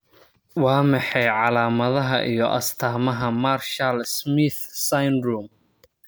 Waa maxay calaamadaha iyo astamaha Marshall Smith syndrome?